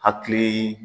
Hakili